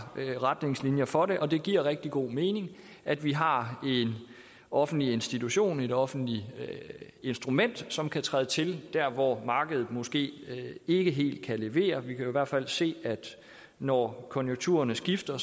retningslinjer for det og det giver rigtig god mening at vi har en offentlig institution et offentligt instrument som kan træde til der hvor markedet måske ikke helt kan levere vi kan jo i hvert fald se at når konjunkturerne skifter